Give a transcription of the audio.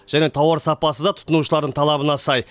және тауар сапасы да тұтынушылардың талабына сай